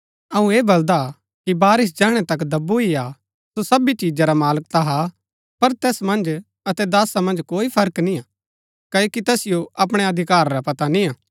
अऊँ ऐह बलदा कि वारिस जैहणै तक दब्बू ही हा सो सबी चिजा रा मालक ता हा पर तैस मन्ज अतै दासा मन्ज कोई फर्क निय्आ क्ओकि तैसिओ अपणै अधिकार रा पता निय्आ